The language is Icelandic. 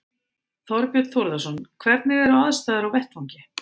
Þorbjörn Þórðarson: Hvernig eru aðstæður á vettvangi?